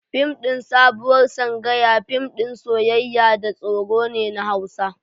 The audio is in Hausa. Fim ɗin Sabuwar Sangaya fim ɗin soyayya da tsoro ne na Hausa.